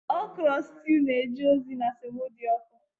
okro stew na-eje ozi na semo dị ọkụ